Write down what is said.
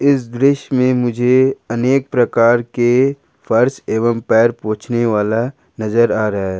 इस दृश्य में मुझे अनेक प्रकार के पर्स एवं पैर पोछने वाला नजर आ रहा है।